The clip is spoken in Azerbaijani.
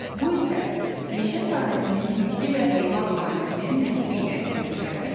Bu isə meşə sahəsinin bitki və heyvan aləminin məhvi ilə nəticələnir.